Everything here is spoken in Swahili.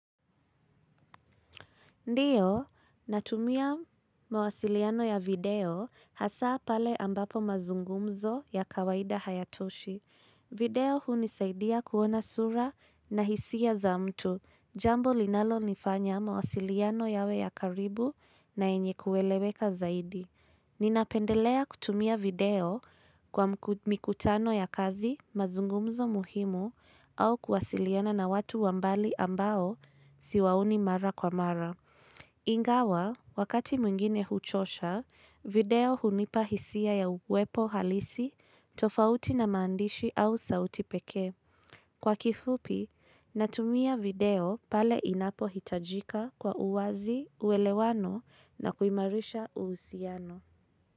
Ndiyo, natumia mawasiliano ya video hasa pale ambapo mazungumzo ya kawaida hayatoshi. Video hunisaidia kuona sura na hisia za mtu. Jambo linalo nifanya mawasiliano yawe ya karibu na yenye kueleweka zaidi. Ni napendelea kutumia video kwa mikutano ya kazi mazungumzo muhimu au kuwasiliana na watu wambali ambao siwaoni mara kwa mara. Ingawa, wakati mwingine huchosha, video hunipa hisia ya uwepo halisi, tofauti na maandishi au sauti pekee. Kwa kifupi, natumia video pale inapo hitajika kwa uwazi, uwelewano na kuimarisha uhusiano.